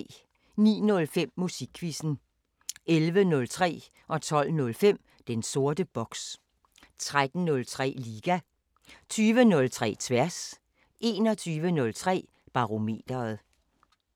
09:05: Musikquizzen 11:03: Den sorte boks 12:05: Den sorte boks 13:03: Liga 20:03: Tværs 21:03: Barometeret